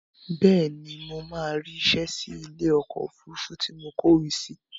Bẹ́ẹ̀ni, mo máa rí isẹ́ sí ilé ọkọ̀ òfurufú tí mo kọ ìwé sí